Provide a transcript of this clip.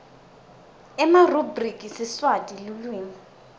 emarubhriki siswati lulwimi